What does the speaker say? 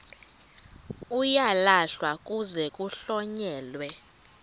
uyalahlwa kuze kuhlonyelwe